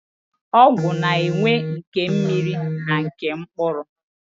Ọgwụ na-enwe nke mmiri na nke mkpụrụ.